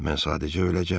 Mən sadəcə öləcəm.